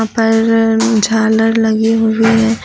पर झालर लगी हुई है।